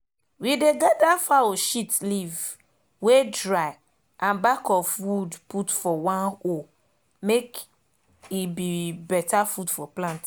we dey gather fowl shit leaf wey dry and back of wood put for one hole make e be better food for plant